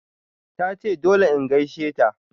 Tace dole in gaisheta.